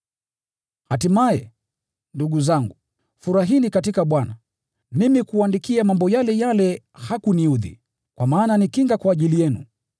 Hatimaye, ndugu zangu, furahini katika Bwana! Mimi kuwaandikia mambo yale yale hakuniudhi, kwa maana ni kinga kwa ajili yenu.